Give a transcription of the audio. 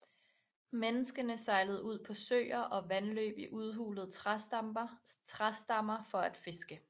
Menneskene sejlede ud på søer og vandløb i udhulede træstammer for at fiske